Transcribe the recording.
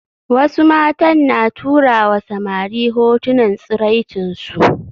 Wasu matan na turawa samari hotunan tsiraicinsu